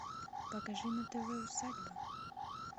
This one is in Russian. покажи на тв усадьба